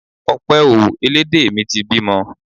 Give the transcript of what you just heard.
Ọpẹ o! Elédè mi ti bímọ.